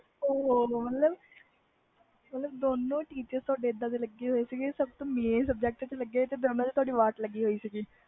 ਉਹ ਹੋ ਦੋ ਨੂੰ teacher ਇਹਦੇ ਗਏ ਲਗੇ ਸੀ ਤੇ ਫਿਰ ਤੁਹਾਡੀ ਵਾਟ ਚੰਗੀ ਲੱਗਦੀ ਸੀ ਉਪਰੋਂ ਮੇਨ subject ਤੇ ਲਗੇ ਸੀ